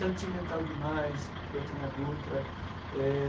Sentimental demais, do Atamar Dutra. Eh...